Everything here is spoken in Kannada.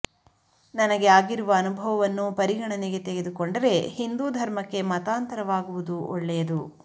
ನನಗೆ ಆಗಿರುವ ಅನುಭವವನ್ನು ಪರಿಗಣನೆಗೆ ತೆಗೆದುಕೊಂಡರೆ ಹಿಂದೂ ಧರ್ಮಕ್ಕೆ ಮತಾಂತರವಾಗುವುದು ಒಳ್ಳೆಯದು